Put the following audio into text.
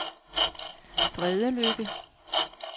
Bredeløkke